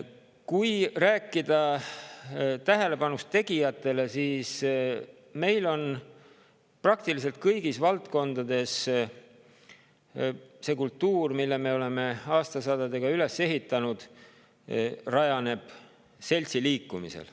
Kui rääkida tegijatele tähelepanu, siis tuleb öelda, et praktiliselt kõigis valdkondades rajaneb see kultuur, mille me oleme aastasadadega üles ehitanud, seltsiliikumisel.